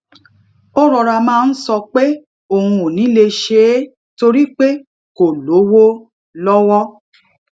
ó rọra máa ń sọ pé òun ò ní lè ṣe é torí pé kò lówó lọ́wọ́